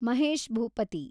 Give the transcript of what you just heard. Mahesh Bhupathi